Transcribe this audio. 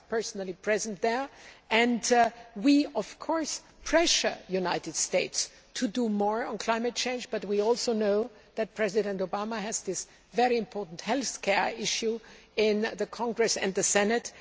I was personally present and we pressured the United States to do more on climate change, but we also know that President Obama has a very important health care issue in Congress and the Senate.